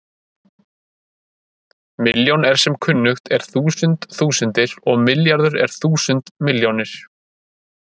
milljón er sem kunnugt er þúsund þúsundir og milljarður er þúsund milljónir